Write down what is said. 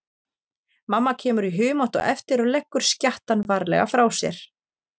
Mamma kemur í humátt á eftir og leggur skjattann varlega frá sér.